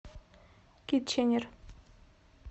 китченер